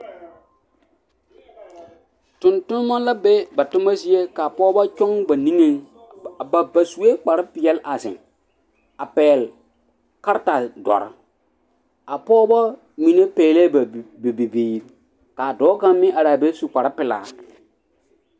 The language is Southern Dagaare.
Tontonma la be ba toma zie ka pɔgeba kyɔŋ ba nigeŋ ba ba sue kparepeɛlle a zeŋ a pɛgle karetadɔre a pɔge mine pɛglɛɛ ba bi ba bibiiri ka a dɔɔ kaŋ meŋ are a be su kparepelaa.